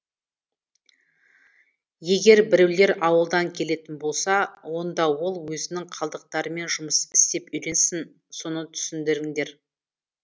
егер біреулер ауылдан келетін болса онда ол өзінің қалдықтарымен жұмыс істеп үйренсін соны түсіндіріңдер